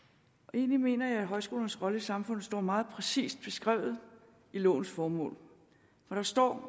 egentlig mener jeg at højskolernes rolle i samfundet står meget præcist beskrevet i lovens formål hvor der står